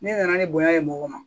Ne nana ni bonya ye mɔgɔ ma